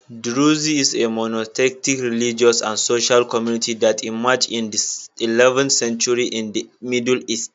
Druze is a monotheistic religious and social community that emerged in the 11th century in the Middle East